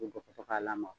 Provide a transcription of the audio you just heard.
U bɛ bɔ ka to ka lamaga